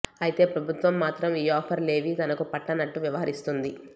అయితే ప్రభుత్వం మాత్రం ఈ ఆఫర్ లేవీ తనకు పట్టనట్లు వ్యవహరిస్తోంది